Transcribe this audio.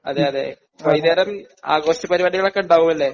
അതെ അതെ വൈകുന്നേരം ആഘോഷ പരിപാടികളൊക്കെ ഉണ്ടാവും അല്ലേ?